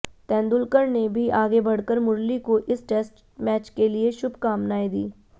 तेंदुलकर ने भी आगे बढ़कर मुरली को इस टेस्ट मैच के लिए शुभकामनाएं दीं